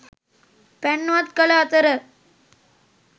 පැන් වත් කළ අතර